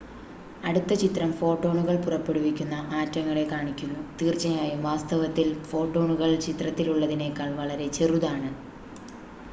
അടുത്ത ചിത്രം ഫോട്ടോണുകൾ പുറപ്പെടുവിക്കുന്ന ആറ്റങ്ങളെ കാണിക്കുന്നു തീർച്ചയായും വാസ്തവത്തിൽ ഫോട്ടോണുകൾ ചിത്രത്തിലുള്ളതിനേക്കാൾ വളരെ ചെറുതാണ്